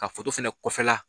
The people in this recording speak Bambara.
Ka fɛnɛ kɔfɛla